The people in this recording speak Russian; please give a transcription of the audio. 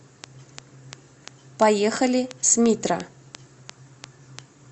поехали смитра